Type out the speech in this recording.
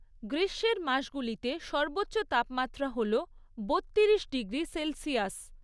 গ্রীষ্মের মাসগুলিতে সর্বোচ্চ তাপমাত্রা হল বত্তিরিশ ডিগ্রি সেলসিয়াস।